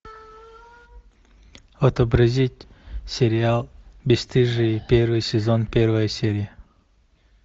отобразить сериал бесстыжие первый сезон первая серия